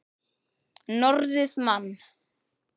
Norðrið man.